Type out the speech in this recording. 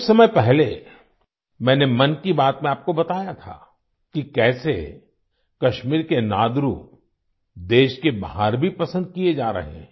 कुछ समय पहले मैंने मन की बात में आपको बताया था कि कैसे कश्मीर के नादरू देश के बाहर भी पसंद किए जा रहे हैं